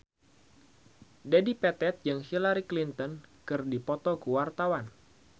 Dedi Petet jeung Hillary Clinton keur dipoto ku wartawan